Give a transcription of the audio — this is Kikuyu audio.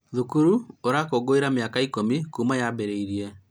Thukuru ũrakũngũĩra miaka ikũmi kuuma yambĩrĩrie